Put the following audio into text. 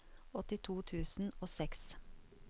åttito tusen og seks